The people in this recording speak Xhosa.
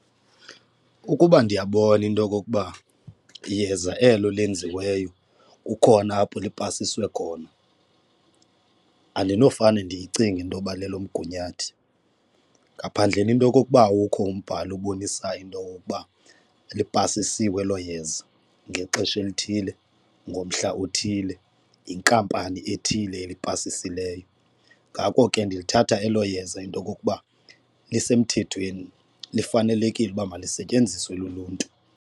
Ukuba ndiyabona into okokuba yeza elo lenziweyo kukhona apho lipasiswe khona andinofane ndiyicinge intoba lelomgunyathi, ngaphandleni into okokuba ukho umbhalo ubonisayo into okokuba lipasisiwe elo yeza ngexesha elithile, ngomhla othile, yinkampani ethile elipasisileyo. Ngako ke ndilithatha elo yeza into okokuba lisemthethweni lifanelekile uba malisetyenziswe luluntu.